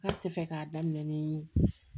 Ne tɛ fɛ k'a daminɛ ni